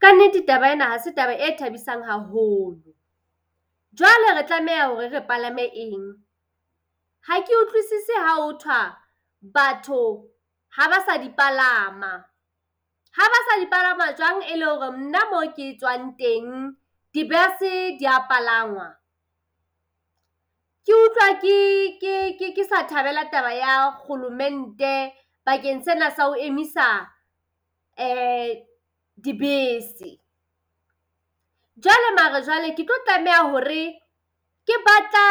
Ka nnete taba ena hase taba e thabisang haholo. Jwale re tlameha hore re palame eng? Ha ke utlwisise ha ho thwa batho haba sa di palama. Ha ba sa di palama jwang e le hore nna mo ke tswang teng dibese dia palangwa. Ke utlwa ke ke ke ke sa thabela taba ya kgolomente bakeng sena sa ho emisa dibese. Jwale mare jwale, ke tlo tlameha hore ke batla